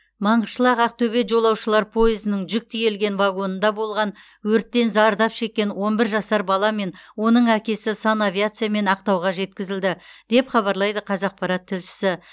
маңғышлақ ақтөбе жолаушылар пойызының жүк тиелген вагонында болған өрттен зардап шеккен он бір жасар бала мен оның әкесі санавиациямен ақтауға жеткізілді деп хабарлайды қазақпарат тілшісі